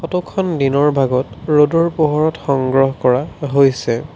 ফটোখন দিনৰ ভাগত ৰ'দৰ পোহৰত সংগ্ৰহ কৰা হৈছে।